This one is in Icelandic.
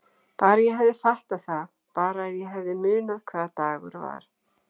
Bara ég hefði fattað það, bara ef ég hefði munað hvaða dagur var.